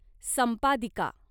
संपादिका